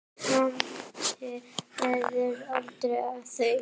Vonandi verður aldrei af því.